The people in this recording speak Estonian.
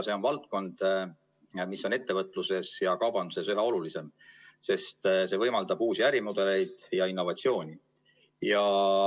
See on valdkond, mis on ettevõtluses ja kaubanduses üha olulisem, sest see võimaldab uusi ärimudeleid ja innovatsiooni.